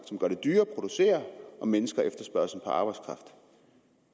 som gør det dyrere at producere og mindsker efterspørgslen på arbejdskraft